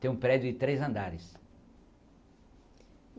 Tenho um prédio de três andares.